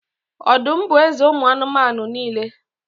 Ọdụm bụ eze ụmụ anụmanụ niile